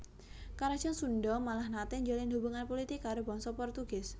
Karajan Sundha malah naté njalin hubungan pulitik karo bangsa Portugis